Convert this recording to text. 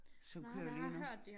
Som kører lige nu